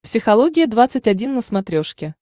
психология двадцать один на смотрешке